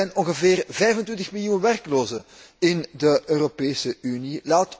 Er zijn ongeveer 25 miljoen werklozen in de Europese Unie.